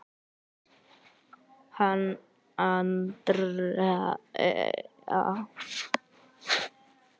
Hanna Andrea.